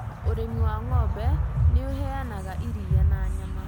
Ũrĩmi wa ng'ombe nĩ ũheanaga iria na nyama.